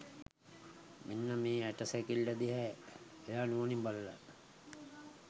මෙන්න මේ ඇට සැකිල්ල දිහා එයා නුවණින් බලල